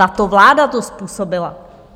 Tato vláda to způsobila!